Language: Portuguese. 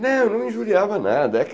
Não, não injuriava nada. É que